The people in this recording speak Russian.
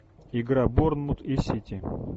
игра борнмут и сити